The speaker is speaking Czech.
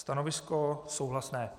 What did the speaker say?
Stanovisko souhlasné.